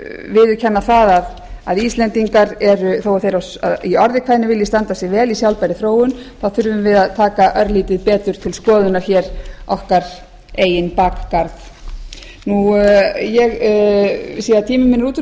viðurkenna það að íslendingar þó að þeir í orði kveðnu vilji standa sig vel í sjálfbærri þróun þá þurfum við að taka örlítið betur til skoðunar hér okkar eigin bakgarð ég sé að tími minn er útrunninn hæstvirtur forseti